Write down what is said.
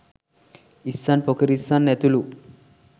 ඉස්සන් පොකිරිස්සන් ඇතුළු